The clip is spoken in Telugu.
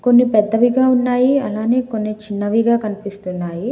కొన్ని పెద్దవిగా ఉన్నాయి అలానే కొన్ని చిన్నవిగా కనిపిస్తున్నాయి.